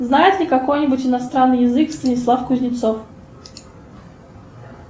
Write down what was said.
знает ли какой нибудь иностранный язык станислав кузнецов